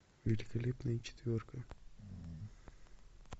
великолепная четверка